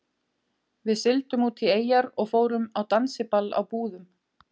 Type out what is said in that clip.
Við sigldum út í eyjar og fórum á dansiball á Búðum.